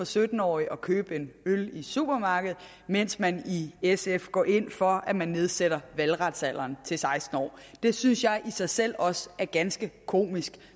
sytten årige at købe en øl i supermarkedet mens man i sf går ind for at man nedsætter valgretsalderen til seksten år det synes jeg i sig selv også er ganske komisk